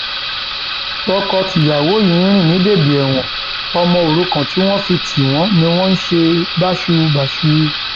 tọkọtìyàwó yìí ń rìn ní bèbè ẹwọn ọmọ òrukàn tí wọn fi tì wọn ni wọn ṣe báṣubàṣu